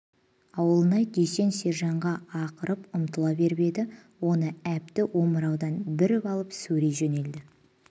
ауылнай дүйсен сержанға ақырып ұмтыла беріп еді оны әбді омыраудан бүріп алып сүйрей жөнелді